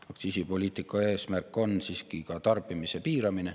Aktsiisipoliitika eesmärk on siiski ka tarbimise piiramine.